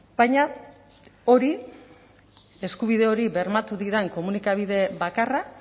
baina hori eskubide hori bermatu didan komunikabide bakarra